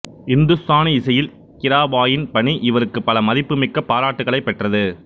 இந்துஸ்தானி இசையில் கிராபாயின் பணி இவருக்கு பல மதிப்புமிக்க பாராட்டுக்களைப் பெற்றது